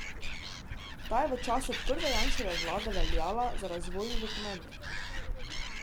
Ta je v času prve Janševe vlade veljala za razvojni dokument.